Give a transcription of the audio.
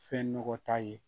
Fɛn nɔgɔ t'a ye